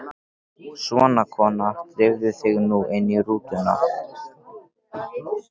Svona, kona, drífðu þig nú inn í rútuna